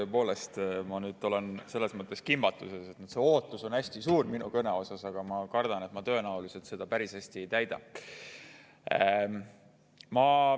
Tõepoolest, ma olen selles mõttes kimbatuses, et ootus minu kõne suhtes on hästi suur, aga ma kardan, et ma tõenäoliselt seda päris hästi ei täida.